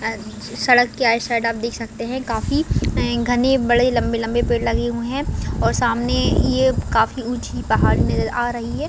अ स सड़क के आइड-साइड आप देख सकते है काफी घने बड़े लम्बे-लम्बे पेड़ लगे हुए है और सामने ये काफी ऊँची पहाड़ नज़र आ रही है।